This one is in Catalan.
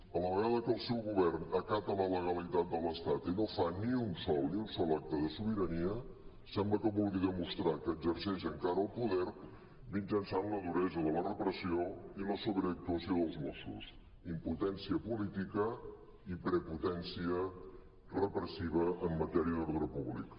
a la ve·gada que el seu govern acata la legalitat de l’estat i no fa ni un sol ni un sol acte de sobirania sembla que vulgui demostrar que exerceix encara el poder mitjançant la duresa de la repressió i la sobreactuació dels mossos impotència política i prepo·tència repressiva en matèria d’ordre públic